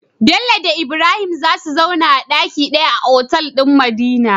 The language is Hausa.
Bello da Ibrahim zasu zauna a daki daya a otal din madina